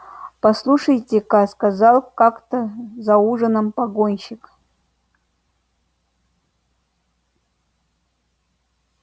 послушайте ка сказал как то за ужином погонщик